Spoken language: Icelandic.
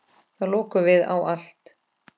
Þá lokuðum við á allt.